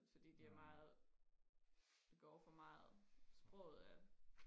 fordi det er meget det går for meget sproget er